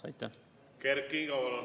Kert Kingo, palun!